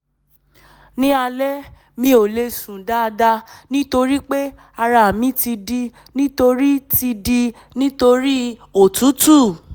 ní alẹ́ mi ò lè sùn dáadáa nítorí pé ara mi ti dí nítorí ti dí nítorí òtútù